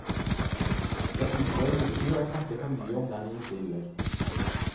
Jeg unngår imidlertid å snakke for mye om dem i intervjuer.